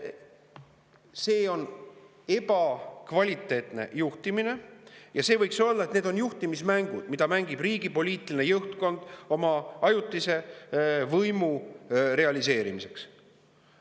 See on ebakvaliteetne juhtimine ja need on juhtimismängud, mida mängib riigi poliitiline juhtkond oma ajutise võimu realiseerimiseks.